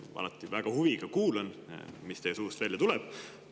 Ma alati väga huviga kuulan, mis teie suust välja tuleb.